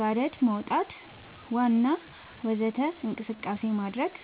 ጋደት መውጣት ዋና ወዘተ እንቅስቃሴ ማድረግ